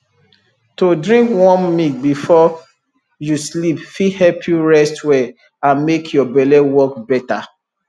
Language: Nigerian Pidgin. to drink warm milk before you sleep fit help you rest well and make your belle work better